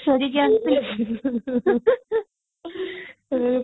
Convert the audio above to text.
ଫେରିକି ଆସିଥିଲେ